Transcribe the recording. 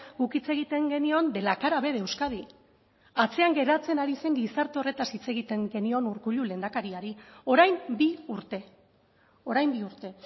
guk hitz egiten genion de la cara b de euskadi atzean geratzen ari zen gizarte horretaz hitz egiten genion urkullu lehendakariari orain bi urte orain bi urte